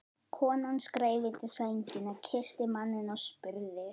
Konan skreið undir sængina, kyssti manninn og spurði